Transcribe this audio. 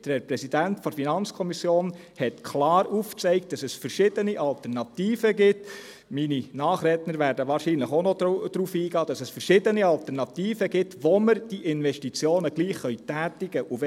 Der Herr Präsident der FiKo zeigte klar auf, dass es verschiedene Alternativen gibt – meine Nachredner werden wohl auch noch darauf eingehen –, mit denen wir die Investitionen trotzdem tätigen können.